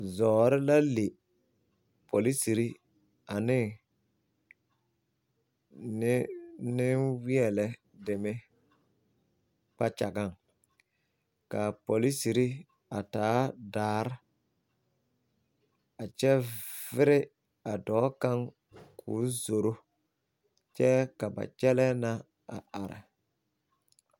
Zɔɔre la le poliserre ane neŋweɛ lɛ deme kpakyagaŋ kaa poliserre a taa daare a kyɛ vire a dɔɔ kaŋ koo zoro kyɛɛ ka ba kyɛlɛɛ na a are.